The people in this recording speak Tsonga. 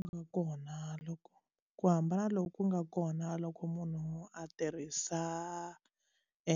Ku nga kona loko ku hambana loku ku nga kona loko munhu a tirhisa